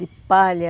De palha.